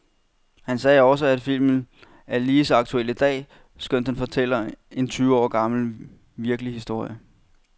Han sagde også, at filmen er lige så aktuel i dag, skønt den fortæller en tyve år gammel, virkelig historie.